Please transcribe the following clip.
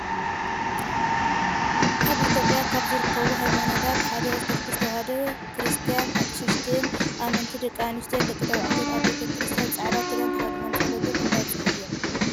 ኣብ ኢትዮጵያ ካብ ዝርከቡ ሃይማኖታት ሓደ ኦርቶዶክስ ተዋህዶ ክርስትያን ኣቅሽሽትን ኣመንቲ ደቂ ኣንስትዮን ደቂ ተባዕትዮን ኣብ ቤተ-ክርስትያን ፃዕዳ ክዳን ተከዲኖም ፀሎቶም እንዳብፅሑ እዩም።